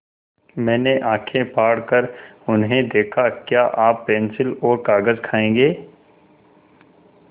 मैंने आँखें फाड़ कर उन्हें देखा क्या आप पेन्सिल और कागज़ खाएँगे